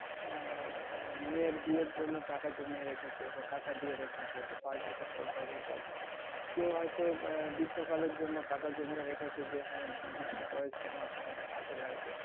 আহ মেয়ের বিয়ের জন্য টাকা জমিয়ে রেখেছে বা টাকা দিয়ে রেখেছে পাঁচ বছর পর তখন পাবে। কেউ হয়তো আহ বিভিন্ন কাজের জন্য টাকা জমিয়ে রেখেছে যে, হ্যাঁ শেষ বয়সে আমার টাকাটা কাজে লাগবে.